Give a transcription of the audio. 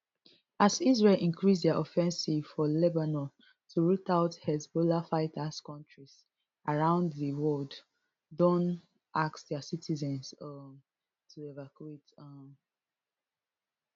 as israel increase dia offensive for lebanon to root out hezbollah fighters kontris around di world don ask dia citizens um to evacuate um